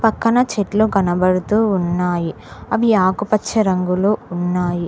పక్కన చెట్లు కనబడుతూ ఉన్నాయి అవి ఆకుపచ్చ రంగులో ఉన్నాయి.